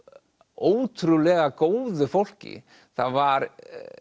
ótrúlega góðu fólki það var